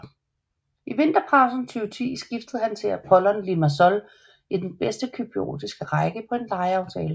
I vinterpausen 2010 skiftede han til Apollon Limassol i den bedste cypriotiske række på en lejeaftale